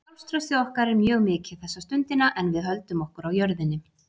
Sjálfstraustið okkar er mjög mikið þessa stundina en við höldum okkur á jörðinni.